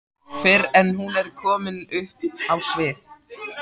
fyrr en hún er komin upp á svið.